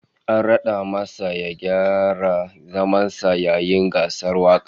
An rad'a masa ya gyara zaman sa yayin gasar wakar